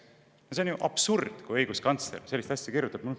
See on ju absurd, kui õiguskantsler sellist asja kirjutab.